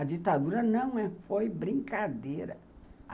A ditadura não foi brincadeira.